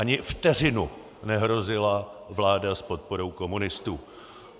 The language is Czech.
Ani vteřinu nehrozila vláda s podporou komunistů!